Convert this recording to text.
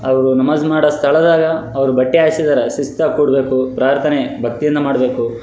ಅವ್ರು ನಮಾಝ್ ಮಾಡೊ ಸ್ಥಳದಾಗ ಅವ್ರು ಬಟ್ಟೆ ಹಾಸಿದಾರ ಶಿಸ್ತಾಗ ಕೂಡ್ಬೇಕು ಪ್ರಾರ್ಥನೆ ಭಕ್ತಿಯಿಂದ ಮಾಡ್ಬೇಕು.